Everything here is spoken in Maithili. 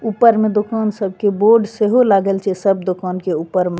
ऊपर में दुकान सब के बोर्ड से हो लागल छे सब दुकान के ऊपर में।